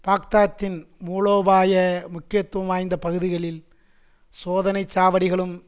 பாக்தாத்தின் மூலோபாய முக்கியத்துவம் வாய்ந்த பகுதிகளில் சோதனை சாவடிகளும்